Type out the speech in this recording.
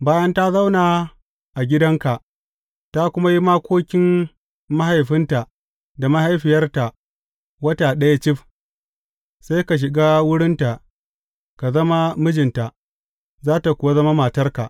Bayan ta zauna a gidanka ta kuma yi makokin mahaifinta da mahaifiyarta wata ɗaya cif, sai ka shiga wurinta ka zama mijinta, za tă kuwa zama matarka.